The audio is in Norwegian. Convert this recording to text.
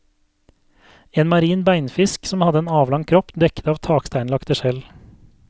En marin beinfisk som hadde en avlang kropp dekket av taksteinlagte skjell.